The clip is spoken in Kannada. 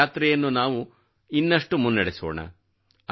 ಈ ಯಾತ್ರೆಯನ್ನು ನಾವು ಮತ್ತಷ್ಟು ಮುನ್ನಡೆಸೋಣ